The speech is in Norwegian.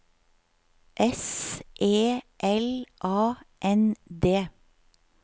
S E L A N D